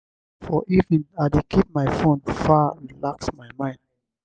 for evening i dey keep my fone far relax my mind.